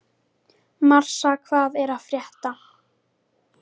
Marsa, hvað er að frétta?